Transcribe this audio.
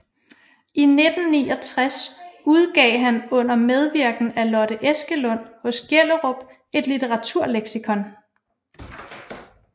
I 1969 udgav han under medvirken af Lotte Eskelund hos Gjellerup et Litteraturleksikon